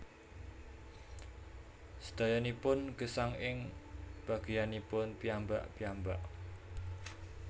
Sedayanipun gesang ing bageyanipun piyambak piyambak